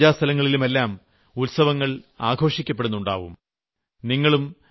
ക്ഷേത്രങ്ങളിലും പൂജാസ്ഥലങ്ങളിലുമെല്ലാം ഉത്സവങ്ങൾ ആഘോഷിക്കപ്പെടുന്നുണ്ടാവും